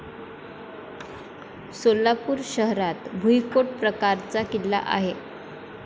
सोलापूर शहरात भुईकोट प्रकारचा किल्ला आहे.